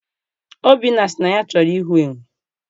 Obinna sị na ya chọrọ ịhụ enwe.